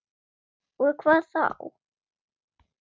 Og við hvað þá?